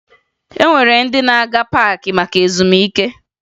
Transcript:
E nwere ndị na-aga paakị maka ezumike